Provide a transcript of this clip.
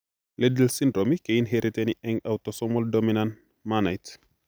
Liddle syndrome keinheriteni eng' autosomal dominant mannait